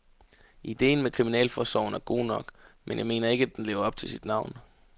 Idéen med kriminalforsorgen er god nok, men jeg mener ikke, at den lever op til sit navn.